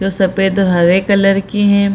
जो सफेद और हरा कलर की हैं।